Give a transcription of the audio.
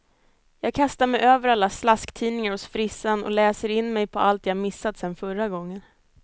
Jag kastar mig över alla slasktidningar hos frissan och läser in mig på allt jag missat sen förra gången.